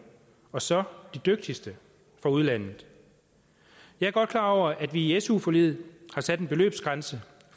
og så de dygtigste fra udlandet jeg er godt klar over at vi i su forliget har sat en beløbsgrænse